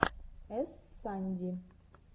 эс санди